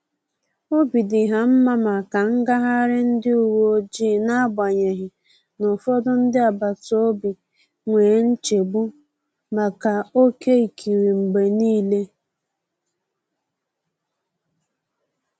Obi di ha nma maka ngaghari ndi uweojii na agbanyighi na ụfọdụ ndị agbata obi nwee nchegbu maka oke ịkiri mgbe niile